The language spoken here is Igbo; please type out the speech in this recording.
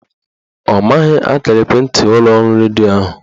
Ọ maghị akara ekwentị ụlọọrụ redio ahụ